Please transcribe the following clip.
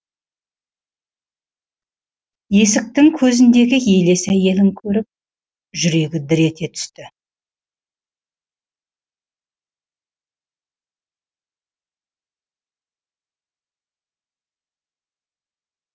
есіктің көзіндегі елес әйелін көріп жүрегі дір ете түсті